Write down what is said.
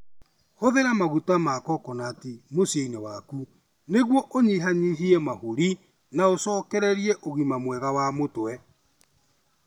Hũthĩra maguta ma kokonati mũciinĩ waku nĩguo ũnyihanyihie mahũri na ũcokererie ũgima mwega wa mũtwe.